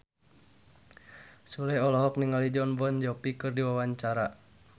Sule olohok ningali Jon Bon Jovi keur diwawancara